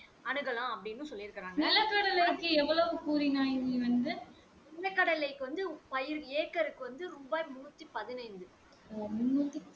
அணுகலாம் அப்படின்னு சொல்லி இருக்காங்க நிலகடலைக்கு வந்து பயிர் ஏக்கருக்கு வந்து ரூபாய் முண்ணூத்தி பதினைந்து